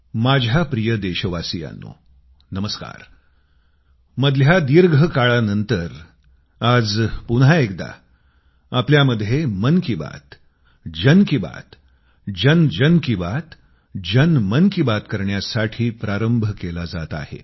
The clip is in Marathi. माझ्या प्रिय देशवासियांनो नमस्कार मधल्या दीर्घ काळानंतर आज पुन्हा एकदा आपल्यामध्ये मन की बात जन की बात जनजन की बात जनमन की बात करण्यासाठी प्रारंभ केला जात आहे